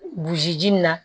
Burusi ji min na